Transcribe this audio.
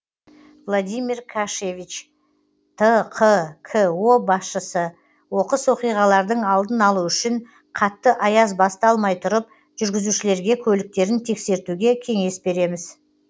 владимир кашевич тқко басшысы оқыс оқиғалардың алдын алу үшін қатты аяз басталмай тұрып жүргізушілерге көліктерін тексертуге кеңес береміз